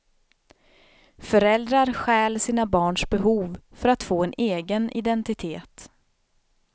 Föräldrar stjäl sina barns behov för att få en egen identitet.